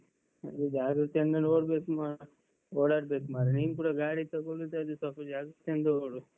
ಅದೇ ಜಾಗೃತೆ ಇಂದ ನೋಡ್ಬೇಕು ಮಾಡ ಓಡಾಡ್ಬೇಕು ಮಾರ್ರೆ. ನೀನ್ ಕೂಡ ಗಾಡಿ ತಗೊಳುದಾದ್ರೆ ತಗೋ ಜಾಗೃತೆಯಿಂದ ತಗೋ.